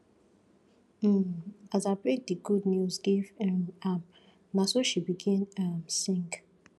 um as i break di good news give um am na so she begin um sing